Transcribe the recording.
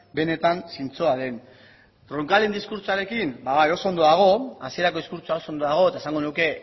benetan zintzoa den roncalen diskurtsoarekin ba bai oso ondo dago hasierako diskurtsoa oso ondo dago eta esango nuke